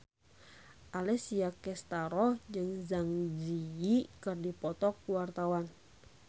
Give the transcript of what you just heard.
Alessia Cestaro jeung Zang Zi Yi keur dipoto ku wartawan